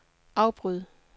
afbryd